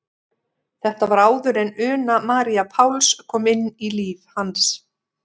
Þetta var áður en Una María Páls kom inn í líf hans.